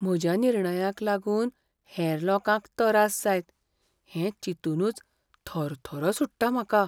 म्हज्या निर्णयाक लागून हेर लोकांक तरास जायत हें चिंतूनच थरथरो सुट्टा म्हाका.